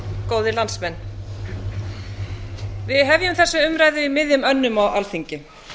góðir landsmenn við hefjum þessa umræðu í miðjum önnum á alþingi